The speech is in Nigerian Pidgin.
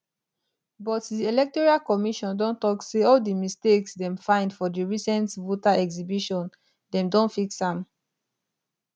but di electoral commission don tok say all di mistakes dem find for di recent voter exhibition dem don fix am